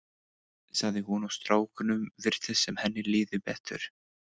sagði hún og strákunum virtist sem henni liði betur.